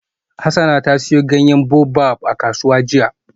Hassana ta siyo ganyen baobab a kasuwa jiya.